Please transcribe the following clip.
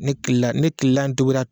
Ne kila ne kilan togura